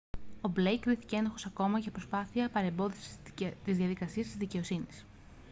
ο μπλέικ κρίθηκε ένοχος ακόμα για προσπάθεια παρεμπόδισης της διαδικασίας της δικαιοσύνης